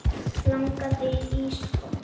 Langar þig í ísblóm?